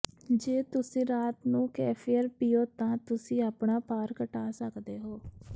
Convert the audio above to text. ਜੇ ਤੁਸੀਂ ਰਾਤ ਨੂੰ ਕੇਫ਼ਿਰ ਪੀਓ ਤਾਂ ਤੁਸੀਂ ਆਪਣਾ ਭਾਰ ਘਟਾ ਸਕਦੇ ਹੋ